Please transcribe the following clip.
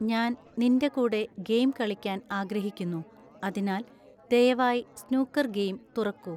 ഞാൻ നിന്റെ കൂടെ ഗെയിം കളിക്കാൻ ആഗ്രഹിക്കുന്നു അതിനാൽ ദയവായി സ്നൂക്കർ ഗെയിം തുറക്കൂ